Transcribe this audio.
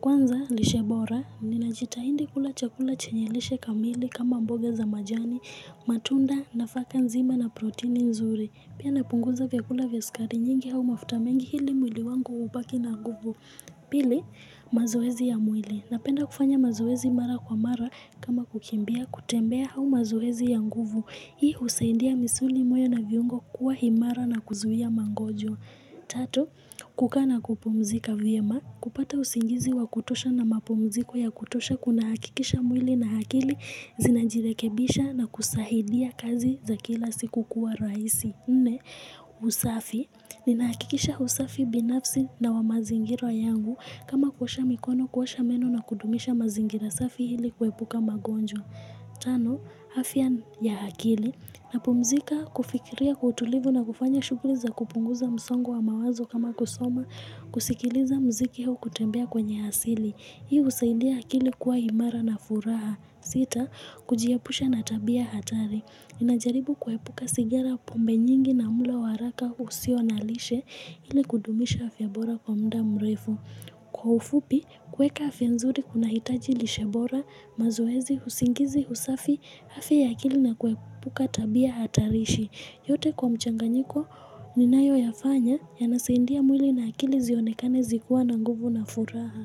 Kwanza, lishe bora, ninajitahidi kula chakula chenye lishe kamili kama mboga za majani, matunda nafaka nzima na protini nzuri. Pia napunguza vyakula vya sukari nyingi au mafuta mengi ili mwili wangu ubaki na nguvu. Pili, mazoezi ya mwili. Napenda kufanya mazoezi mara kwa mara kama kukimbia, kutembea au mazoezi ya nguvu. Hii husaidia misuli moyo na viungo kuwa imara na kuzuia magonjwa. Tatu, kukaa na kupumzika vyema. Kupata usingizi wa kutosha na mapumziko ya kutosha kunahakikisha mwili na akili zinajirekebisha na kusaidia kazi za kila siku kuwa rahisi. Nne, usafi. Ninahakikisha usafi binafsi na wa mazingira yangu kama kuosha mikono kuosha meno na kudumisha mazingira safi ili kuepuka magonjwa. Tano, afya ya akili napumzika kufikiria kwa utulivu na kufanya shughuli za kupunguza msongo wa mawazo kama kusoma kusikiliza muziki au kutembea kwenye asili. Hiu husaidia akili kuwa imara na furaha. Sita, kujiepusha na tabia hatari. Ninajaribu kuepuka sigara pombe nyingi na mlo haraka usiyo na lishe ili kudumisha afya bora kwa muda mrefu. Kwa ufupi, kuweka afya nzuri kunahitaji lishe bora, mazoezi, usingizi, usafi, afya ya akili na kuepuka tabia hatarishi. Yote kwa mchanganyiko ninayoyafanya yanasaidia mwili na akili zionekane zikuwa na nguvu na furaha.